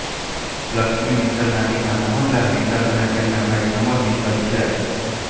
લક્ષ્મી મિત્તલના પિતા મોહન લાલ મિત્તલ અને તેમના ભાઈ પ્રમોદ મિત્તલ છે